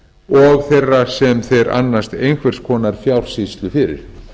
og þeirra sem þeir annast einhvers konar fjársýslu fyrir